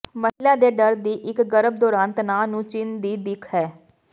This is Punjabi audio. ਮਹਿਲਾ ਦੇ ਡਰ ਦੀ ਇਕ ਗਰਭ ਦੌਰਾਨ ਤਣਾਅ ਨੂੰ ਚਿੰਨ੍ਹ ਦੀ ਦਿੱਖ ਹੈ